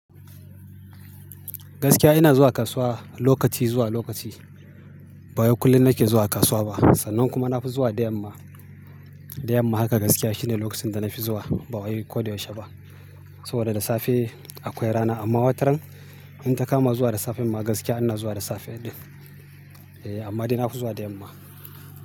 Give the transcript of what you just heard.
Gaskiya ina zuwa kasuwa lokaci zuwa lokaci. Ba wai kullum nake zuwa kasuwa ba. Sannan kuma na fi zuwa da yamma. Da yamma haka gaskiya shine lokacin da na fi zuwa ba wai koda yaushe ba. Saboda da safe akwai rana amma wataran in ta kama zuwa da safe ma gaskiya ina zuwa da safe ɗin. Eh amma dai na fi zuwa da yamma.